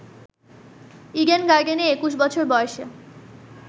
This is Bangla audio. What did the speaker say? ইডেন গার্ডেনে ২১ বছর বয়সে